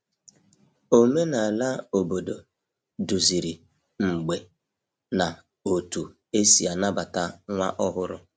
Omenala obodo duziri mgbe na otú e si anabata nwa ọhụrụ.